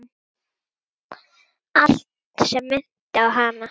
Allt sem minnti á hana.